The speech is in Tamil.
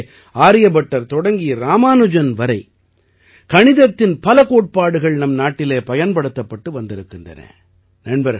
இதைப் போலவே ஆரியபட்டர் தொடங்கி ராமானுஜன் வரை கணிதத்தின் பல கோட்பாடுகள் நம் நாட்டிலே பயன்படுத்தப்பட்டு வந்திருக்கின்றன